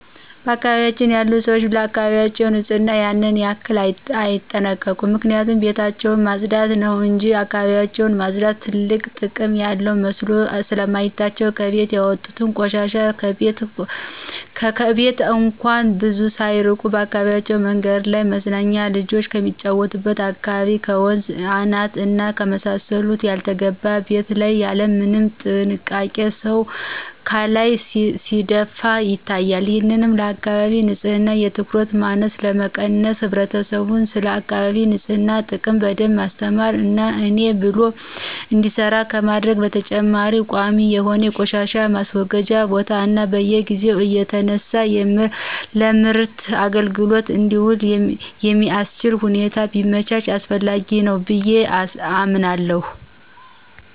በአካባቢያችን ያሉ ሰዎች ለአካባቢያቸው ንጽህና ያን ያክል አይጠነቀቁም ምክንያቱም ቤታቸውን ማጽዳት ነው እንጅ እካባቢያቸውን ማጽዳት ትልቅ ጥቅም ያለው መስሎ ስለማይታያቸው ከቤት ያወጡትን ቆሻሻ ከቤት እንኳን ብዙ ሳያርቁ በአካባቢው መንገድ ላይ፣ መዝናኛና ልጆች ከሚጫወቱበት አካባቢ፣ ከወንዝ አናት እና ከመሳሰሉት ያልተገባ ቤት ላይ ያለምንም ጥንቃቄ ሰው ካላይ ሲደፉ ይታያሉ። ይህንን ለአካባቢ ንጽህና የትኩረት ማነስ ለመቀነስ ህብረተሰቡን ስለአካቢ ንጽህና ጥቅም በደንብ ማስተማር እና የኔ ብሎ እንዲሰራ ከማድረግ በተጨማሪ ቋሚ የሆነ የቆሻሻ ማስወገጃ ቦታ እና በየጊዜው እየተነሳ ለምርት አግልግሎት እንዲውል የሚአስችል ሁኔታ ቢመቻች አስፈላጊ ነው ብየ አምናለሁ።